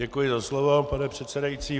Děkuji za slovo, pane předsedající.